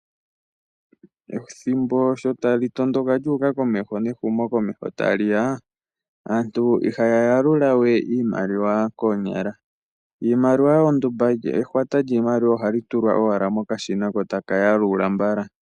Ethimbo sho tali tondondoka lyu uka komeho nehumokomeho tali ya, aantu ihaya yalula we iimaliwa koonyala. Iimaliwa ondumba, ehwata lyiimaliwa ohali tulwa owala mokashina, ko taka yalula mbala.